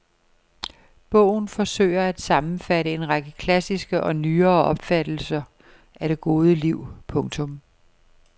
Bogen forsøger at sammenfatte en række klassiske og nyere opfattelser af det gode liv. punktum